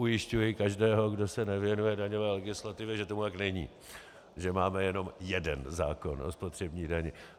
Ujišťuji každého, kdo se nevěnuje daňové legislativě, že tomu tak není, že máme jen jeden zákon o spotřební dani.